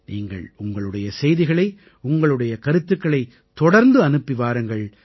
நீங்கள் உங்களுடைய செய்திகளை உங்களுடைய கருத்துக்களைத் தொடர்ந்து அனுப்பி வாருங்கள்